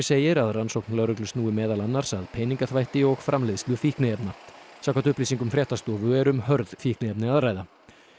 segir að rannsókn lögreglu snúi meðal annars að peningaþvætti og framleiðslu fíkniefna samkvæmt upplýsingum fréttastofu er um hörð fíkniefni að ræða